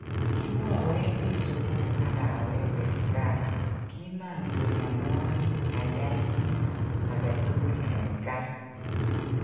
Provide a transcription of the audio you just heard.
Kiwowendi sugul agawege gaa kiman koyanwan ayai kit agetugul en kaa.